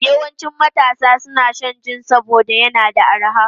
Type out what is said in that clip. Yawancin matasa suna shan jin saboda yana da arha.